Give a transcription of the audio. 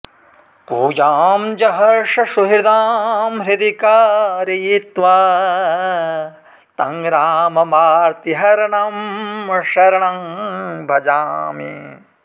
पूजां जहर्ष सुहृदां हृदि कारयित्वा तं राममार्तिहरणं शरणं भजामि